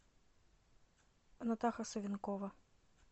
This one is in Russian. натаха савинкова